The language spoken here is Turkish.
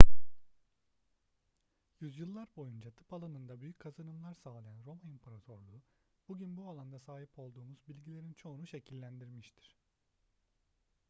yüzyıllar boyunca tıp alanında büyük kazanımlar sağlayan roma i̇mparatorluğu bugün bu alanda sahip olduğumuz bilgilerin çoğunu şekillendirmiştir